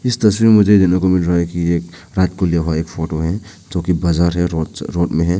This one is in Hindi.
इस तस्वीर मुझे देखने को मिल रहा है कि एक रात को लिया हुआ एक फोटो है जो की बाजार या रो रोड में है।